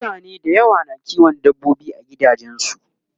mutane da yawa na kiwon dabbobi a gidajensu